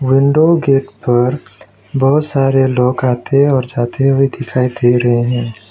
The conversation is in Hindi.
विंडो गेट पर बहुत सारे लोग आते और जाते हुए दिखाई दे रहे हैं।